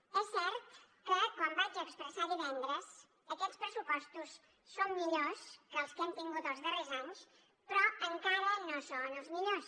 és cert que com vaig expressar divendres aquests pressupostos són millors que els que hem tingut els darrers anys però encara no són els millors